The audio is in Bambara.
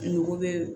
Mɔgɔ bɛ